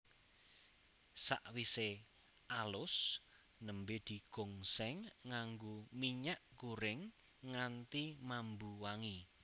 Sakwise alus nembé digongsèng nganggo minyak gorèng nganti mambu wangi